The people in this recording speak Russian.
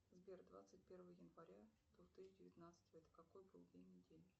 сбер двадцать первое января две тысячи девятнадцатого это какой был день недели